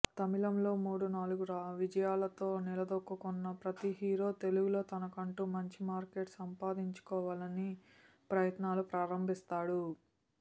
తమిళంలో మూడు నాలుగు విజయాలతో నిలదొక్కుకున్న ప్రతి హీరో తెలుగులో తనకంటూ మంచి మార్కెట్ సంపాదించుకోవాలని ప్రయత్నాలు ప్రారంభిస్తాడు